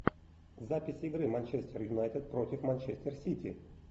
запись игры манчестер юнайтед против манчестер сити